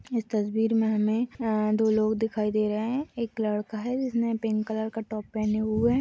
इस तस्वीर में हमें अअ दो लोग दिखाई दे रहे हैं | एक लड़का है जिसने पिंक कलर का टॉप पहने हुए है।